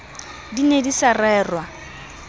di ne di sa rerwa